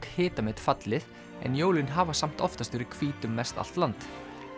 hitamet fallið en jólin hafa samt oftast verið hvít um mestallt land